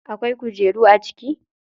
Akwai kujeru a ciki?